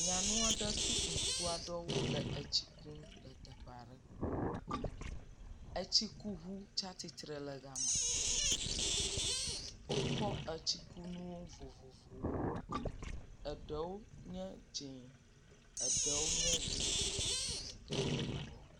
Nyanua ɖe kple ŋutsua ɖewo le etsi kum le teʋe aɖe. etsi ku ŋu tsia tsitre ɖe gama. Wokɔ etsikunuwo vovovowo. Eɖewo nye dz0, eɖewo nye ʋe, eɖe nye yibɔ.